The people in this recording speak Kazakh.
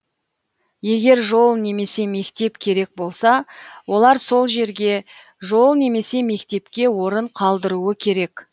егер жол немесе мектеп керек болса олар сол жерге жол немесе мектепке орын қалдыруы керек